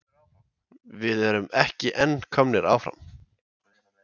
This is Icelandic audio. Við erum ekki en komnir áfram?